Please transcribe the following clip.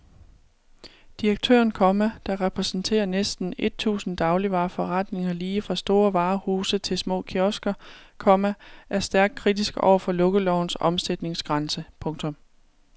Direktøren, komma der repræsenterer næsten et tusind dagligvareforretninger lige fra store varehuse til små kiosker, komma er stærkt kritisk over for lukkelovens omsætningsgrænse. punktum